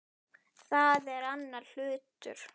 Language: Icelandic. Það er annar hlutur.